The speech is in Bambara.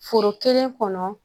Foro kelen kɔnɔ